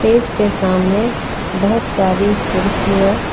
इसके सामने बहुत सारी कुर्सियां--